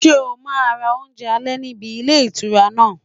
Ṣé o máa ra oúnjẹ alẹ́ níbi ilé ìtura náà?